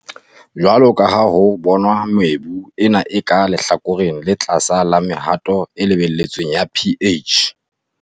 Jwalo ka ha ho bonwa, mebu ena e ka lehlakoreng le tlase la mehato e lebelletsweng ya pH.